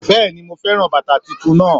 Béèni mo féràn bàtà titun naa